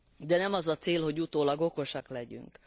De nem az a cél, hogy utólag okosak legyünk.